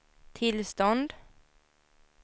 tillstånd